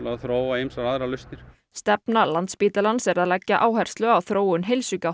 að þróa ýmsar aðrar lausnir stefna Landspítalans er að leggja áherslu á þróun